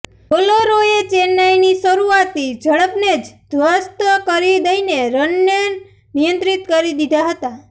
બોલરોએ ચેન્નાઈની શરુઆતી ઝડપને જ ધ્વસ્ત કરી દઈને રનને નિયંત્રિત કરી દીધા હતા